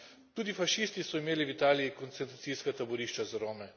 Tudi fašisti so imeli v Italiji koncentracijska taborišča za Rome.